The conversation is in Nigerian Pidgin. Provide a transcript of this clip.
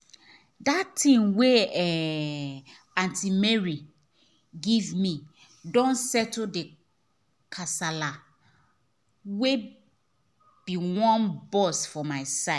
that thing wey um aunty mary give me don settle the kasala wey be wan burst for my side